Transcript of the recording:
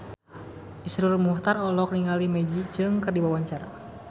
Iszur Muchtar olohok ningali Maggie Cheung keur diwawancara